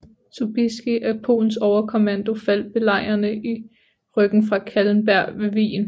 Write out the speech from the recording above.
Sobieski af Polens overkommando faldt belejrene i ryggen fra Kahlenberg ved Wien